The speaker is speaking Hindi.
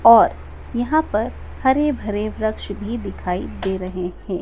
और यहां पर हरे भरे वृक्ष भी दिखाई दे रहे हैं।